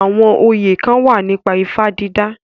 Àwọn oyè kán wà nípa ifá dídà